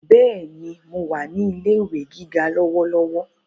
Bẹ́ẹ̀ni, mo wà ní ilé ìwé gíga lọ́wọ́lọ́wọ́